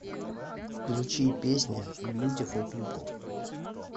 включи песня бьютифул пипл